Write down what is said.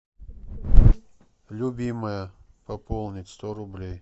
любимая пополнить сто рублей